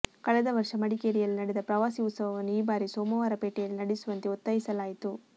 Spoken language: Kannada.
ಕಳೆದ ವರ್ಷ ಮಡಿಕೇರಿಯಲ್ಲಿ ನಡೆದ ಪ್ರವಾಸಿ ಉತ್ಸವವನ್ನು ಈ ಭಾರಿ ಸೋಮವಾರಪೇಟೆಯಲ್ಲಿ ನಡೆಸುವಂತೆ ಒತ್ತಾಯಿಸಲಾಯಿತು